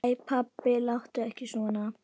Æ pabbi, láttu ekki svona.